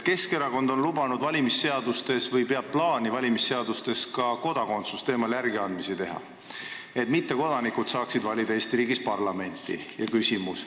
Keskerakond on lubanud või peab plaani valimisseadustes ka kodakondsusteemal järeleandmisi teha, et mittekodanikud saaksid Eesti riigis parlamenti valida.